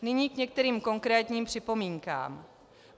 Nyní k některým konkrétním připomínkám.